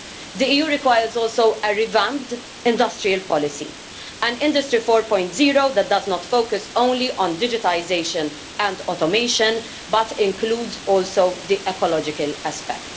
The EU requires also a revamped industrial policy, an Industry 4.0 that does not focus only on digitisation and automation but includes also the ecological aspect